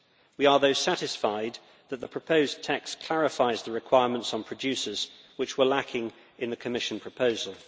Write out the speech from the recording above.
We are, though, satisfied that the proposed tax clarifies the requirements on producers which were lacking in the Commission proposal.